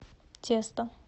тесто